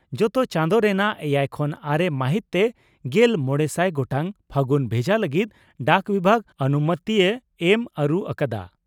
ᱡᱚᱛᱚ ᱪᱟᱸᱫᱚ ᱨᱮᱱᱟᱜ ᱮᱭᱟᱭ ᱠᱷᱚᱱ ᱟᱨᱮ ᱢᱟᱦᱤᱛ ᱛᱮ ᱜᱮᱞ ᱢᱚᱲᱮᱥᱟᱭ ᱜᱚᱴᱟᱝ ᱯᱷᱟᱹᱜᱩᱱ ᱵᱷᱮᱡᱟ ᱞᱟᱹᱜᱤᱫ ᱰᱟᱠ ᱵᱤᱵᱷᱟᱜᱽ ᱟᱱᱩᱢᱳᱛᱤᱭ ᱮᱢ ᱟᱹᱨᱩ ᱟᱠᱟᱫᱼᱟ ᱾